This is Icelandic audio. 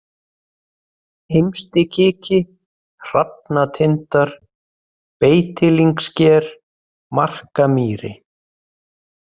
Heimsti-Kiki, Hrafnatindar, Beitilyngsker, Markamýri